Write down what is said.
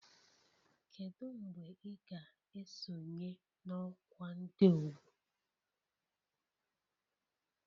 Kedu mgbe ị ga-esonye na ọkwa ndị ọgbọ